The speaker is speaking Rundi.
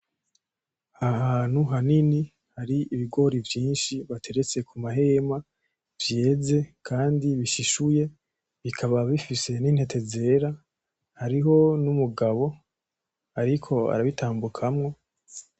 Ahantu hanini hari ibigori vyinshi bateretse ku mahema vyeze kandi bishishuye bikaba bifise n'intete zera hariho n'umugabo ariko arabitambukamwo